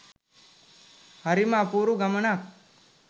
හරිම අපුරු ගමනක්